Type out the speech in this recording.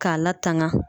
K'a latanga